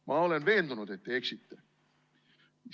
Ma olen veendunud, et te eksite.